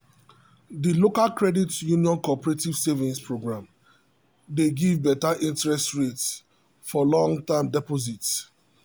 the local credit union cooperative savings program dey give better interest rate for long-term deposit.